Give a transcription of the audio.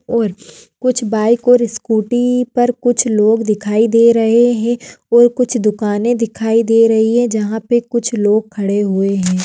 और कुछ बाइक और स्कूटी पर कुछ लोग दिखाई दे रहे है और कुछ दुकाने दिखाई दे रही है जहा पे कुछ लोग खडे हुए है।